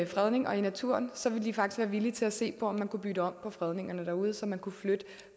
fredning og i naturen vil de faktisk være villige til at se på om man kunne bytte om på fredningerne derude så man kunne flytte